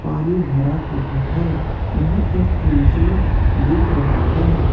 पानी भरा हुआ है यहां एक इंसान दिख रहा है।